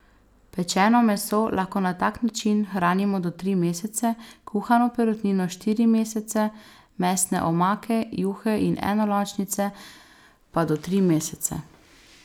Pečeno meso lahko na tak način hranimo do tri mesece, kuhano perutnino štiri mesece, mesne omake, juhe in enolončnice pa do tri mesece.